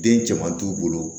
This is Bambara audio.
Den caman t'u bolo